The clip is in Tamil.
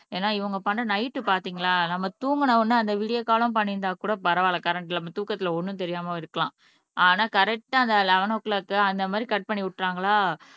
ஏன்னா இவங்க பண்ண நைட் பாத்தீங்களா நம்ம தூங்குன உடனே அந்த விடியற்காலம் பண்ணியிருந்தா கூட பரவாயில்லை கரண்ட் இல்லாமல் தூக்கத்திலே ஒன்றும் தெரியாமல் இருக்கலாம் ஆனா கரெட்டா அந்த எலெவேன் ஓ கிளாக் அந்த மாறி கட் பண்ணி விட்டுட்டாங்களா